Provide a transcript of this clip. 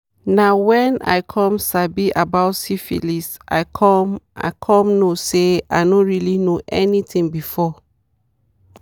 "na when i come sabi about syphilis i come i come know say i no really know anything before."